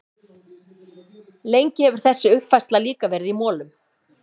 Lengi hefur þessi uppfræðsla líka verið í molum.